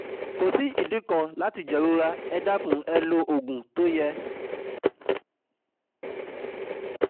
Kò sí ìdí kan láti jẹ̀rora, ẹ dákun ẹ lo òògùn tó yẹ